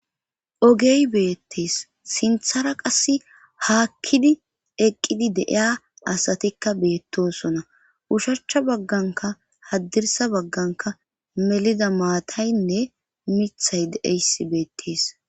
Ogey beettees sinthara qass haakkidi eqqidi deiya asatikka beettosona ushachcha bagganka haddirsa bagganka melida maataynne mithay deeys beettees.